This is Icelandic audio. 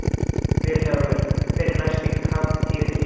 VILHJÁLMUR: Hver er næsti kapítuli í sögu Evrópu?